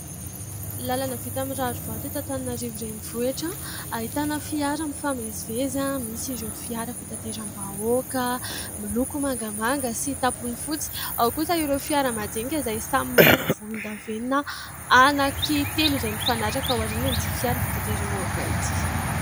Lalana vita amin'ny rarivato eto Antananarivo renivohitra ahitana fiara mifamezivezy. Misy ireo fiara fitateram-bahoaka miloko mangamanga sy tampony fotsy, ao kosa ireo fiara majinika izay samy miloko volondavenona anankitelo izay mifanaraka ao aorianan'ity fiara fitateram-bahoaka ity.